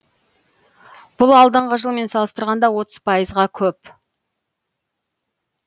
бұл алдыңғы жылмен салыстырғанда отыз пайызға көп